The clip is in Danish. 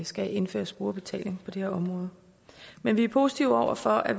skal indføres brugerbetaling på det område men vi er positive over for at